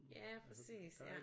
Ja præcis ja